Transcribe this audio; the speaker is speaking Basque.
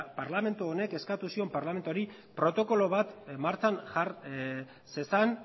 parlamentu honek eskatu zion parlamentu honi protokolo bat martxan jar zezan